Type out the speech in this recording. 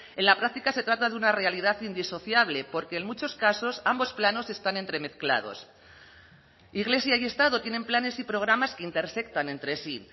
en la práctica se trata de una realidad indisociable porque en muchos casos ambos planos están entremezclados iglesia y estado tienen planes y programas que intersectan entre sí